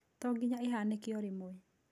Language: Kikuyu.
To ginya ĩhanĩke o rĩmwe.